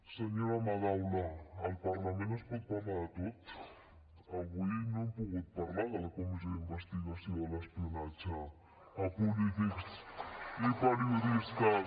senyora madaula al parlament es pot parlar de tot avui no hem pogut parlar de la comissió d’investigació de l’espionatge a polítics i periodistes